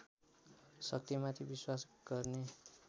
शक्तिमाथि विश्वास गर्ने